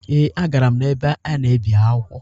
Ee, agara m n’ebe a na-ebi akwụkwọ